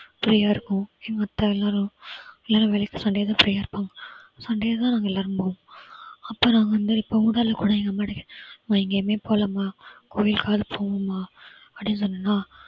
free ஆ இருக்கும் எங்க அத்தை எல்லாரும், எல்லாரும் வேலைக்கு sunday தான் free ஆ இருப்பாங்க. sunday தான் நாங்க எல்லாரும் போகணும். அப்புறம் வந்து இப்போ ஊடால குடையிற மாதிரி எங்க அம்மா கிட்ட கேட்டேன். அம்மா எங்கேயுமே போகலமா, கோயிலுக்காது போவோமா அப்படின்னு சொன்னன்னா